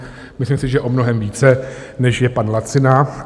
Myslím si, že o mnohem více, než je pan Lacina.